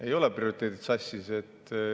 Ei ole prioriteedid sassis.